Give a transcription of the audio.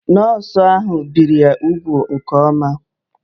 Nọọsụ ahụ biri ya úgwù nke oma